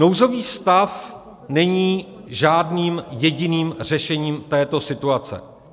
Nouzový stav není žádným jediným řešením této situace.